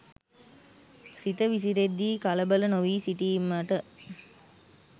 සිත විසිරෙද්දී කලබල නොවී සිටීමට